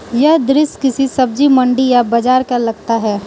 यह दृश्य किसी सब्जी मंडी या बाजार का लगता है।